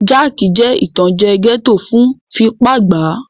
Jáàkì jẹ́ ìtànjẹ́ gẹ́ẹ́tò fún fipá gbàá